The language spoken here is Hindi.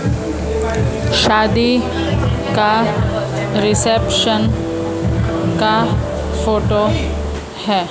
शादी का रिसेप्शन का फोटो है।